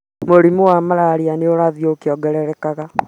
Mũrimũ wa mararia nĩ ũrathiĩ ũkĩongererekaga